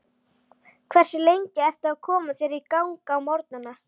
Hversu lengi ertu að koma þér í gang á morgnanna?